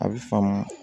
A bɛ fanga